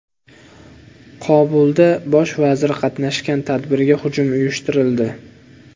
Kobulda bosh vazir qatnashgan tadbirga hujum uyushtirildi.